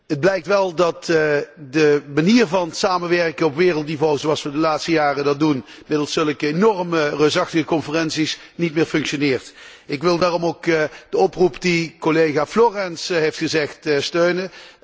Het blijkt wel dat de manier van samenwerken op wereldniveau, zoals wij dat de laatste jaren doen middels zulke enorme, reusachtige conferenties, niet meer functioneert. Ik wil daarom ook de oproep die collega Florenz heeft gedaan, steunen.